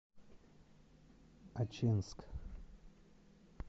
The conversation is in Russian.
ачинск